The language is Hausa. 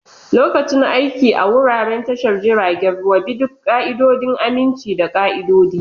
Lokacin aiki a wuraren tashar jiragen ruwa, bi duk ƙa'idodin aminci da ƙa'idodi.